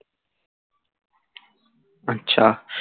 আচ্ছা